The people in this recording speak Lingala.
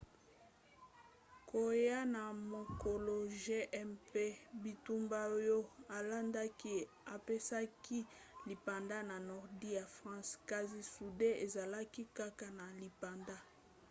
koya ya mokolo j mpe bitumba oyo elandaki epesaki lipanda na nordi ya france kasi sudi ezalaki kaka na lipanda te